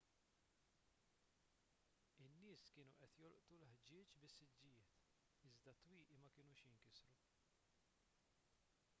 in-nies kienu qed jolqtu l-ħġieġ bis-siġġijiet iżda t-twieqi ma kinux jinkisru